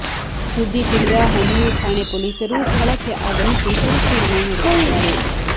ಸುದ್ದಿ ತಿಳಿದ ಹನೂರು ಠಾಣೆ ಪೊಲೀಸರು ಸ್ಥಳಕ್ಕೆ ಆಗಮಿಸಿ ಪರಿಶೀಲನೆ ನಡೆಸಿದ್ದಾರೆ